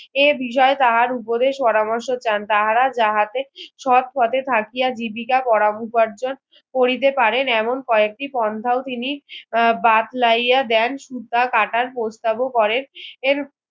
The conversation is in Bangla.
এ বিষয়ে তাহার উপরে পরামর্শ চান তাহারা যাহাতে সৎ পথে থাকিয়া জীবিকা করা উপার্জন করিতে পারেন এমন কয়েকটি পন্ধাও তিনি বাদ লাইয়া দেন সুতা কাটার প্রস্তাব করেন এর